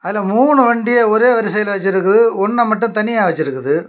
அதுல மூணு வண்டிய ஒரே வரிசையில வச்சிருக்கு ஒன்ன மட்டும் தனியா வச்சிருக்குது.